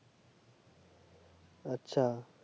আচ্ছা